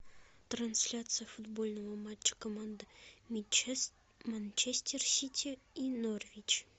трансляция футбольного матча команды манчестер сити и норвич